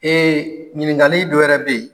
ɲininkali dɔ wɛrɛ bɛ ye.